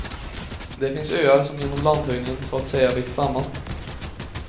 Det finns öar som genom landhöjningen så att säga växt samman.